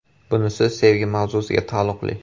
Bunisi sevgi mavzusiga taalluqli.